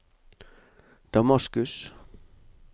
Damaskus